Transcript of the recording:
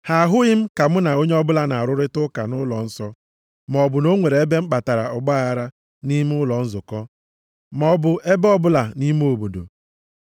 Ha ahụghị m ka mụ na onye ọbụla na-arụrịta ụka nʼụlọnsọ, maọbụ na o nwere ebe m kpatara ọgbaaghara nʼime ụlọ nzukọ, maọbụ ebe ọbụla nʼime obodo.